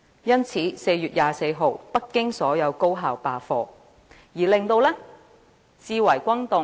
因此，在4月24日，北京所有高校罷課，至為轟動。